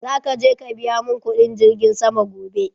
Za ka je ka biya mun kudin girgin sama gobe